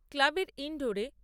ক্লাবের ইন্ডোরে